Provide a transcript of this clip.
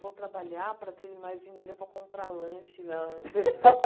Vou trabalhar para ter mais dinheiro para comprar lanche na escola.